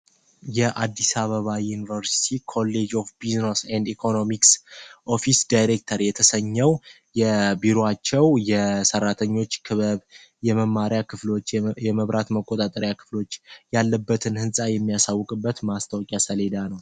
የአዲሳ በባ ዩኒቨርቲት ኮሌጅ ኦፍ ቢዝኖስ ንድ ኢኮኖሚክስ ኦፊስ ዳይሬክተር የተሰኘው የቢሮአቸው የሠራተኞች ክበብ የመማሪያ ክፍሎች የመብራት መቆጣጠሪያ ክፍሎች ያለበትን ሕንፃ የሚያሳውቅበት ማስታወቂያ ሰሌዳ ነው።